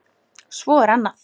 Svo er annað.